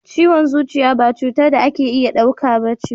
Ciwon zuciya ba cutar da ake iya dauka ba ce.